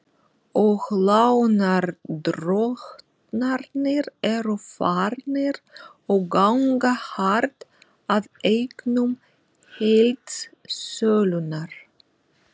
Og lánardrottnarnir eru farnir að ganga hart að eignum heildsölunnar.